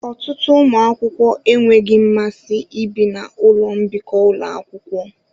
Ọtụtụ ụmụ akwụkwọ enweghị mmasị ibi na ụlọ mbikọ ụlọ akwụkwọ.